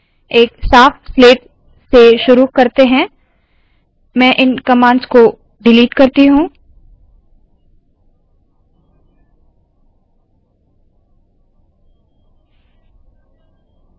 एक साफ स्लेट से शुरुवात करते है मैं इन कमांड्स को डिलीट करती हूँ